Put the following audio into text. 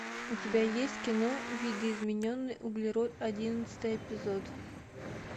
у тебя есть кино видоизмененный углерод одиннадцатый эпизод